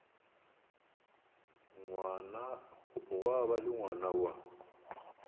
gwa ba le ngwana wa